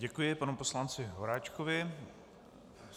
Děkuji panu poslanci Horáčkovi.